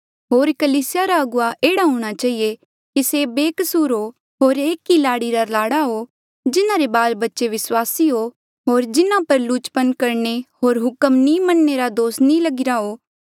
होर कलीसिया रा अगुवा एह्ड़ा हूंणा चहिए कि से बेकसूर हो होर एक ई लाड़ी रे लाड़े हो जिन्हारे बाल बच्चे विस्वासी हो होर जिन्हा पर लुचपन करणे होर हुक्म नी मनणे रा दोष नी लगिरा हो